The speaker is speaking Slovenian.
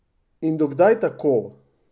In do kdaj tako?